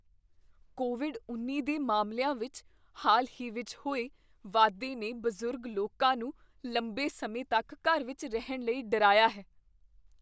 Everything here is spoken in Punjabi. ਕੋਵਿਡ ਉੱਨੀ ਦੇ ਮਾਮਲਿਆਂ ਵਿੱਚ ਹਾਲ ਹੀ ਵਿੱਚ ਹੋਏ ਵਾਧੇ ਨੇ ਬਜ਼ੁਰਗ ਲੋਕਾਂ ਨੂੰ ਲੰਬੇ ਸਮੇਂ ਤੱਕ ਘਰ ਵਿੱਚ ਰਹਿਣ ਲਈ ਡਰਾਇਆ ਹੈ